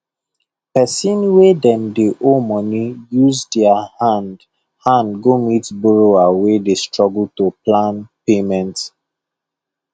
person wey dem dey owe money use their hand hand go meet borrower wey dey struggle to plan payment